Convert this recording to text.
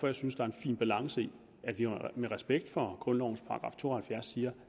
jeg synes der er en fin balance i at vi med respekt for grundlovens § to og halvfjerds siger